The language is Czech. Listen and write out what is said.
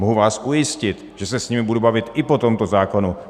Mohu vás ujistit, že se s nimi budu bavit i po tomto zákonu.